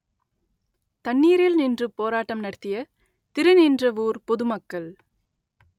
தண்ணீரில் நின்று போராட்டம் நடத்திய திருநின்றவூர் பொது மக்கள்